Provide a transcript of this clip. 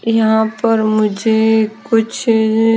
यहां पर मुझे कुछ --